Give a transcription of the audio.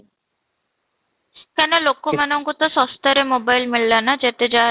କାଇଁ ନା ଲୋକ ମାନଙ୍କୁ ତ ଶସ୍ତାରେ mobile ମିଳିଲା ନା ଯେତେଯାହା